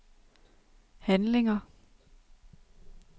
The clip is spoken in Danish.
handlinger